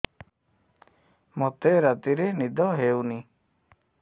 ମୋତେ ରାତିରେ ନିଦ ହେଉନି